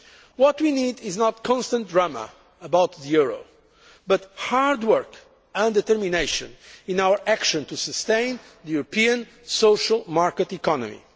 before us. What we need is not constant drama about the euro, but hard work and determination in our action to sustain the European social market